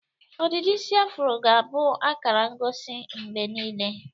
Ọdịdị isi afụro ga-abụ akara ngosi mgbe niile.